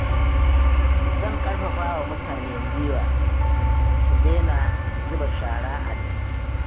Zan ƙarfafawa mutane gwiwa su daina zuba shara a titi.